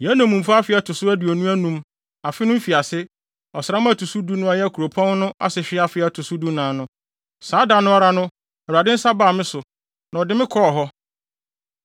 Yɛn nnommumfa afe a ɛto so aduonu anum, afe no mfiase, ɔsram da a ɛto so du a ɛyɛ kuropɔn no asehwe afe a ɛto so dunan no, saa da no ara no Awurade nsa baa me so, na ɔde me kɔɔ hɔ.